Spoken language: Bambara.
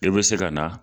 I bɛ se ka na